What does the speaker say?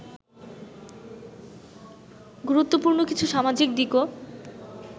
গুরুত্বপূর্ণ কিছু সামাজিক দিকও